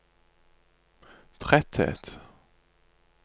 tretthet